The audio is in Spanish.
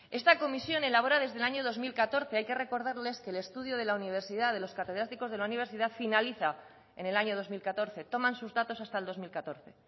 esta comisión elabora desde el año dos mil catorce hay que recordarles que el estudio de la universidad de los catedráticos de la universidad finaliza en el año dos mil catorce toman sus datos hasta el dos mil catorce